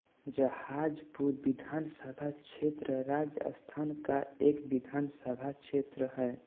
जहाजपुर विधानसभा क्षेत्र राजस्थान का एक विधानसभा क्षेत्र है